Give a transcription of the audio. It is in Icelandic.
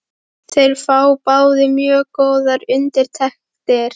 Þeir fá báðir mjög góðar undirtektir.